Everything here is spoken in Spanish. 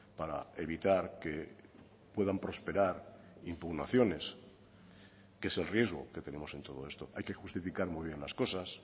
para evitar que puedan prosperar impugnaciones que es el riesgo que tenemos en todo esto hay que justificar muy bien las cosas